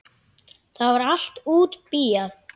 Það var allt útbíað.